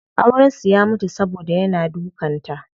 Auren su ya mutu saboda yana dukan ta.